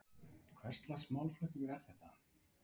Hvers lags málflutningur er þetta?